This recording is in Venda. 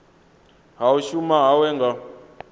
ha u shuma hawe nga